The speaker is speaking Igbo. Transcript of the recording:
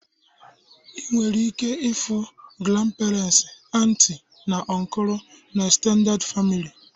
Ị nwere ike ịfụ granperens, anti na ọnkulu na egztended famili